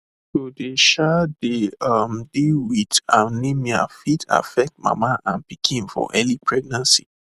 to dey um dey um deal wit anemia fit affect mama and pikin for early pregnancy